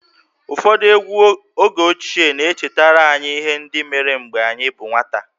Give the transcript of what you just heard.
Ụfọdụ egwú oge ochie na-echetara anyị ihe ndị mere mgbe anyị bụ nwata